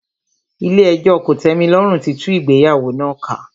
Ilé ẹjọ́ kòtẹ́milọ́rùn tí tú ìgbéyàwó náà ká.